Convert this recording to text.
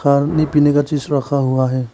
खाने पीने का चीज रखा हुआ है।